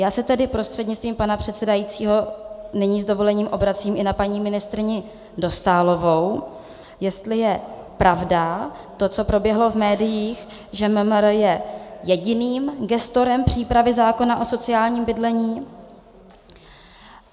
Já se tedy prostřednictvím pana předsedajícího nyní s dovolením obracím i na paní ministryni Dostálovou, jestli je pravda to, co proběhlo v médiích, že MMR je jediným gestorem přípravy zákona o sociálním bydlení.